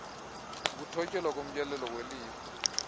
ukuthotyelwa komyolelo welifa